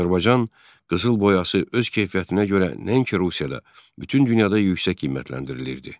Azərbaycan qızılboyası öz keyfiyyətinə görə nəinki Rusiyada, bütün dünyada yüksək qiymətləndirilirdi.